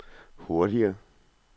hurtigere